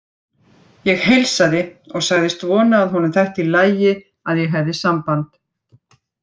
Ég heilsaði og sagðist vona að honum þætti í lagi að ég hefði samband.